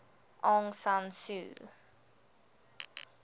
aung san suu